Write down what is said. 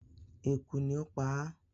Ekú ni o paa